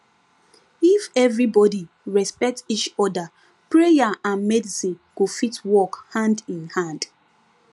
if everybody respect each other prayer and medicine go fit work hand in hand